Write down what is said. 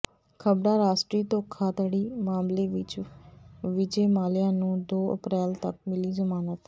ਖ਼ਬਰਾਂ ਰਾਸ਼ਟਰੀ ਧੋਖਾਧੜੀ ਮਾਮਲੇ ਵਿਚ ਵਿਜੈ ਮਾਲਿਆ ਨੂੰ ਦੋ ਅਪ੍ਰੈਲ ਤਕ ਮਿਲੀ ਜ਼ਮਾਨਤ